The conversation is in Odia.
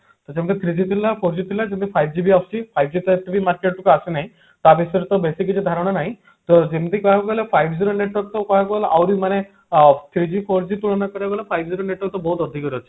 ତ ଯେମତି three G ଥିଲା four G କିନ୍ତୁ five G ବି ଆସୁଛି five G ତ ଏବେ market କୁ ଆସିନାହିଁ ତା ବିଷୟରେ ବେଶୀ କିଛି ଧାରଣା ନାହିଁ ତ ଯେମତି କହିବାକୁ ଗଲେ five G ର network ତ କହିବାକୁ ଆହୁରି ମାନେ ଅ three G four G ତୁଳନାରେ five G ର network ତ ବହୁତ ଅଧିକ ରହୁଛି